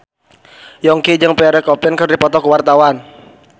Yongki jeung Pierre Coffin keur dipoto ku wartawan